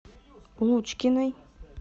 лучкиной